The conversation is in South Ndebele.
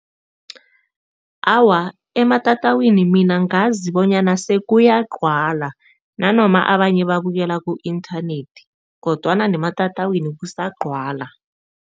Awa, ematatawini mina ngazi bonyana sekuyagcwala nanoma abanye babukela ku-inthanethi kodwana nematatawini kusagcwala.